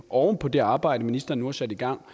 oven på det arbejde ministeren nu har sat i gang